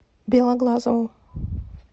белоглазову